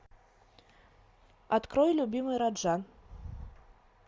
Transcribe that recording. открой любимый раджа